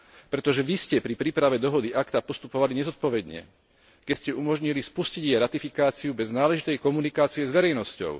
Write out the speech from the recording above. Pretože vy ste pri príprave dohody ACTA postupovali nezodpovedne, keď ste umožnili spustiť jej ratifikáciu bez náležitej komunikácie s verejnosťou.